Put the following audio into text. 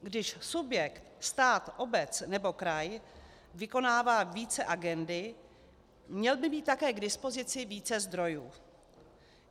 Když subjekt, stát, obec nebo kraj, vykonává více agendy, měl by mít také k dispozici více zdrojů.